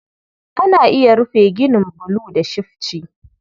Ana iya rufe ginin bulu da shifci.